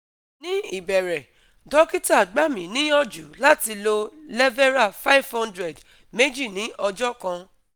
Ní ìbẹ̀rẹ̀, dókítà gba mi niyanju lati lo lévéra five hundred meji ní ọjọ́ kan